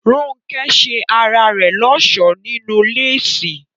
Rónkẹ́ ṣe ara rẹ̀ lọ́ṣọ̀ọ́ nínú léèsì